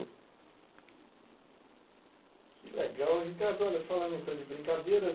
Que legal, Ricardo, falando em tom de brincadeira.